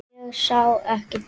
Ég sá ekki tár.